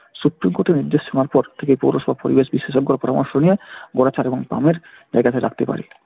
supreme court এর নির্দেশ শোনার পর থেকে পৌরসভা পরিবেশ বিশেষজ্ঞর পরামর্শ নিয়ে জায়গাটা রাখতে পারে।